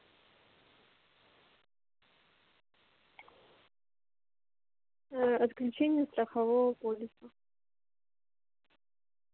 ээ отключение страхового полиса